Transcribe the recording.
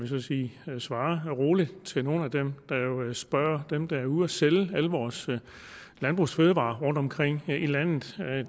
så sige svare roligt til nogle af dem der jo spørger dem der er ude og sælge alle vores landbrugsfødevarer rundt omkring i landet